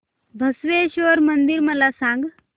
बसवेश्वर मंदिर मला सांग